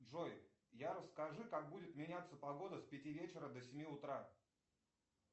джой расскажи как будет меняться погода с пяти вечера до семи утра